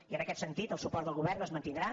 i en aquest sentit el suport del govern es mantindrà